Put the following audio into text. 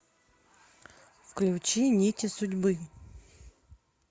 включи нити судьбы